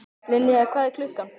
Linnea, hvað er klukkan?